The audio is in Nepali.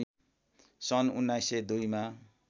सन् १९०२ मा